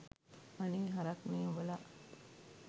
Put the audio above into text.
අනේ හරක් නේ උඹලා